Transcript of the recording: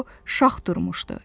O şax durmuşdu.